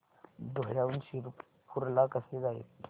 धुळ्याहून शिरपूर ला कसे जायचे